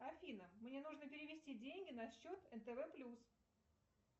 афина мне нужно перевести деньги на счет нтв плюс